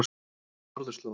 Norðurslóð